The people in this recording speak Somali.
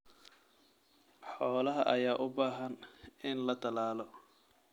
Xoolaha ayaa u baahan in la tallaalo.